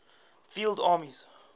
field armies